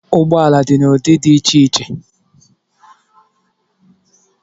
Ụgbọala dị n'udị dị iche iche